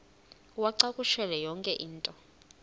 uwacakushele yonke into